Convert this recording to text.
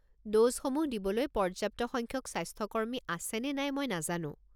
ড'জসমূহ দিবলৈ পর্য্যাপ্ত সংখ্যক স্বাস্থ্যকর্মী আছে নে নাই মই নাজানো।